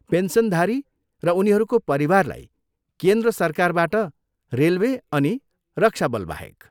पेन्सनधारी र उनीहरूको परिवारलाई केन्द्र सरकारबाट, रेलवे अनि रक्षा बलबाहेक।